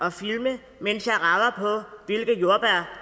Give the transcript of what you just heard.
at filme mens